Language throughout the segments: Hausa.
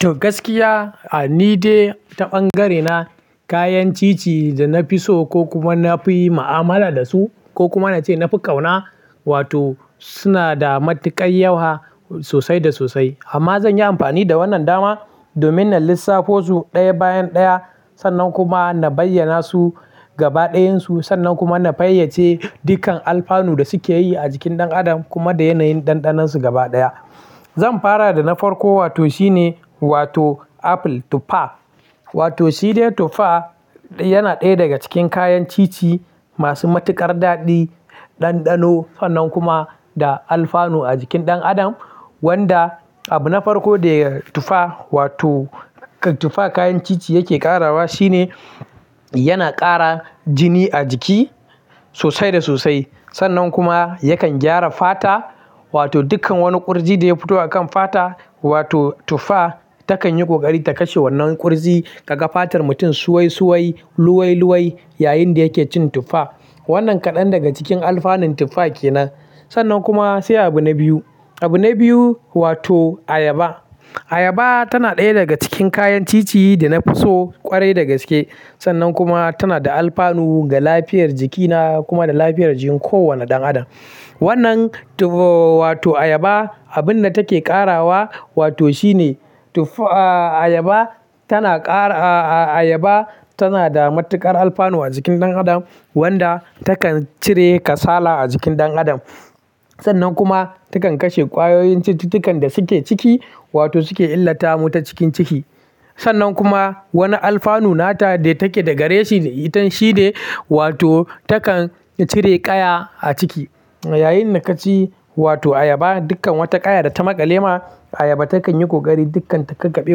To gaskiya, ni dai ta ɓangarena kayan cici da na fi so ko kuma na fi yi ma'amala da su ko kuma na ce na fi ƙauna, wato suna da matuƙar yawa sosai da sosai. Amma zan yi amfani da wannan dama domin in lissafo su ɗaya bayan ɗaya, sannan kuma na bayyana su gaba ɗayan su, sannan kuma na fayyace dukkan alfanun da suke yi a jikin ɗan adam kuma da yanayin ɗanɗanonsu gaba ɗaya. Zan fara da na farko, wato shine wato apple, tuffa. Wato shi dai tuffa yana ɗaya daga cikin kayan cici masu matuƙar daɗi, ɗanɗano, sannan kuma da alfanun a jikin ɗan adam. Wanda abu na farko da tuffa, wato tuffa kayan cici yake ƙarawa shine yana ƙara jini a jiki sosai da sosai. Sannan kuma yakan gyara fata, wato dukkan wani ƙurji da ya fito a kan fata, wato tuffa takan yi ƙoƙari ta kashe wannan ƙurji. Kaga fatar mutum suwai suwai, luwai luwai yayinda yake cin tuffa. Wannan kaɗan daga cikin alfanun tuffa ke nan. Sannan kuma sai abu na biyu. Abu na biyu wato ayaba. Ayaba tana ɗaya daga cikin kayan cici da na fi so ƙwarai da gaske. Sannan kuma tana da alfanun ga lafiyar jikina kuma da lafiyar jikin kowane ɗan adam. Wannan tuffa-- wato ayaba abun da take ƙarawa wato shine tuffa-- ayaba tana ƙara-- ayaba tana da matuƙar alfanu a jikin ɗan adam, wanda takan cire kasala a jikin ɗan adam. Sannan kuma takan kashe ƙwayoyin cututtukan da suke ciki, wato suke illata mu ta cikin ciki. Sannan kuma wani alfanun nata dai take da gare shi ita shi ne wato takan cire ƙaya a ciki. Yayinda ka ci wato ayaba, dukkan wata ƙaya da ta maƙale ma ayaba takan yi ƙoƙari dukkan ta kakabe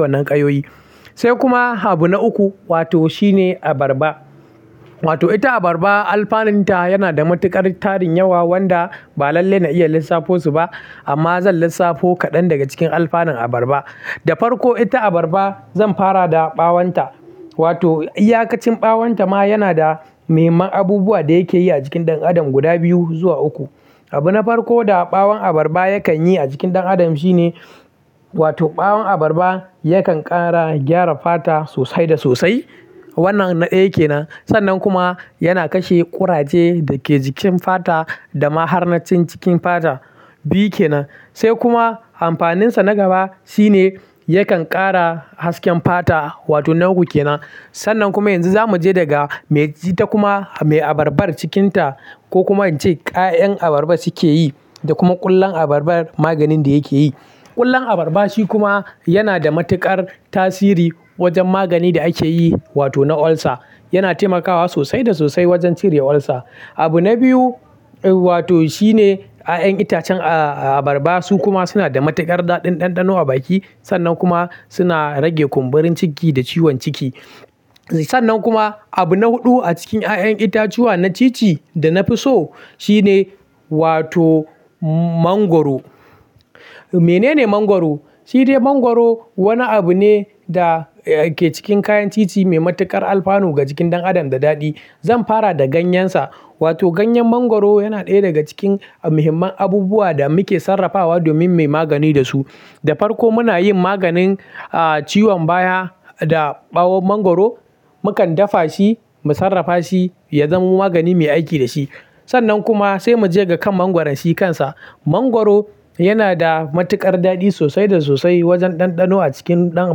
wannan ƙayoyi. Sai kuma abu na uku wato shi ne abarba. Wato ita abarba alfanun ta yana da matuƙar tarin yawa wanda ba lallai na iya lissafo su ba. Amma zan lissafo kaɗan daga cikin alfanun abarba. Da farko ita abarba zan fara da ɓawon ta. Wato iyakacin ɓawon ta ma yana da muhimman abubuwa da yake yi a jikin ɗan adam guda biyu zuwa uku. Abu na farko da ɓawon abarba yakan yi a jikin ɗan adam shine wato ɓawon abarba yakan ƙara gyara fata sosai da sosai. Wannan na ɗaya kenan. Sannan kuma yana kashe kuraje da ke jikin fata da ma har na cikin cikin fata. Biyu ke nan. Sai kuma amfanin sa na gaba shine yakan ƙara hasken fata. Wato na uku kenan. Sannan kuma yanzu za mu je daga me ita kuma mai abarbar cikinta ko kuma in ce ƙayan abarba suke yi da kuma ƙwalon abarbar maganin da yake yi. Ƙwalon abarba shi kuma yana da matuƙar tasiri wajen magani da ake yi wato na ulcer. Yana taimakawa sosai da sosai wajen cire ulcer. Abu na biyu wato shine yayan itacen abarba su kuma suna da matuƙar daɗin ɗanɗano a baki. Ayaba takan yi ƙoƙari dukkan ta kakabe wannan ƙayoyi. Sannan kuma abu na huɗu a cikin ƙayan itatuwa na cici da na fi so shine wato mangwaro. Mene ne mangwaro? Shi dai mangwaro wani abu ne da ke cikin kayan cici mai matuƙar alfanun ga jikin ɗan adam da daɗi. Zan fara da ganyensa. Wato ganyen mangwaro yana ɗaya daga cikin muhimman abubuwa da muke sarrafawa domin mu yi magani da su. Da farko muna yin maganin ciwon baya da ɓawon mangwaro. Mukan dafa shi, mu sarrafa shi, ya zamo magani muyi aiki da shi. Sannan kuma sai mu je ga kan mangwaron shi kansa. Mangwaro yana da matuƙar daɗi sosai da sosai wajen ɗanɗano a cikin ɗan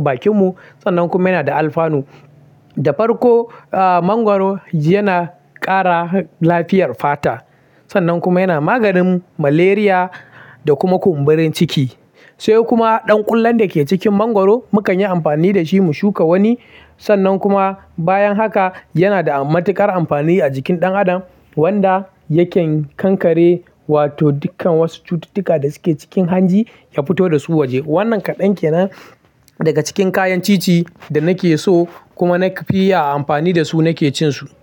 bakin mu. Sannan kuma yana da alfanun. Da farko mangwaro yana ƙara lafiyar fata. Sannan kuma yana maganin malaria da kuma kumburin ciki. Sai kuma ɗan ƙwalon da ke cikin mangwaro mu kan yi amfani da shi mu shuka wani. Sannan kuma bayan haka yana da matuƙar amfani a jikin ɗan adam wanda yake kankare wato dukkan wasu cututtuka da suke cikin hanji ya fito da su waje. Wannan kaɗan ke nan daga cikin kayan cici da nake so kuma na fi yi amfani da su nake cin su.